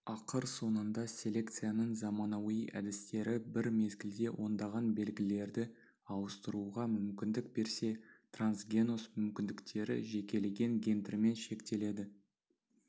ақыр соңында селекцияның заманауи әдістері бір мезгілде ондаған белгілерді ауыстыруға мүмкіндік берсе трансгеноз мүмкіндіктері жекелеген гендермен шектеледі